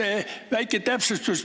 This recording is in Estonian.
Üks väike täpsustus.